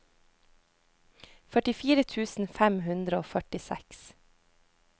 førtifire tusen fem hundre og førtiseks